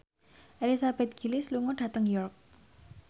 Elizabeth Gillies lunga dhateng York